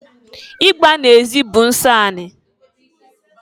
Igba na-ezi bụ nsọ anị.